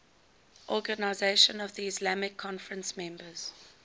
organisation of the islamic conference members